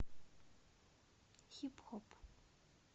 хип хоп